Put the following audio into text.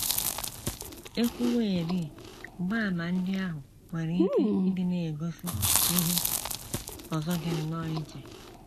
E kwuwerị, mgbaàmà ndị ahụ nwere ike ịdị na - egosi ihe ọzọ dị nnọọ iche.